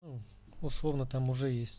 условно там уже